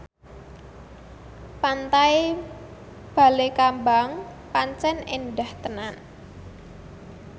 Pantai Balekambang pancen endah tenan